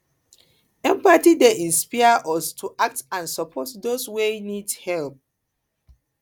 empathy dey inspire us to act and support those wey need help